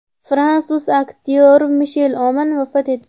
Fransuz aktyori Mishel Omon vafot etdi.